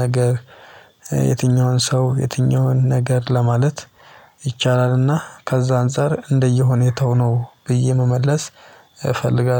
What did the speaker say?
ነገር የትኛውን ሰው የትኛውን ነገር ለማለት ይቻላል። እና ከዛ አንፃር እንደየሁኔታው ነው ብዬ መመለስ እፈልጋለሁ።